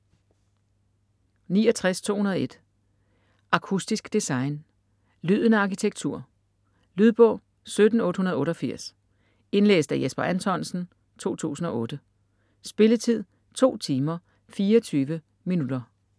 69.201 Akustisk design: lyden af arkitektur Lydbog 17888 Indlæst af Jesper Anthonsen, 2008. Spilletid: 2 timer, 24 minutter.